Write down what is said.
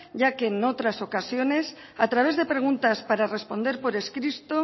ya que en otras ocasiones a través de preguntas para responder por escrito